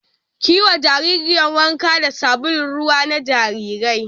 Ki yi wa jaririyar wanka da sabulun ruwa na jarirai